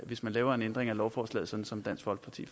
hvis man laver en ændring af lovforslaget sådan som dansk folkeparti